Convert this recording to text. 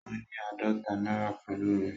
Ó ní àádọ́ta náírà pẹ̀lú rẹ̀.